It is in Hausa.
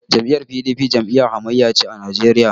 Jam'iyyar PDP jam'iyyar hamayya ce a Najeriya.